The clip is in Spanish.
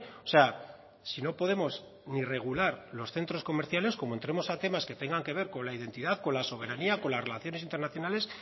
o sea si no podemos ni regular los centros comerciales como entremos a temas que tengan que ver con la identidad con la soberanía con las relaciones internacionales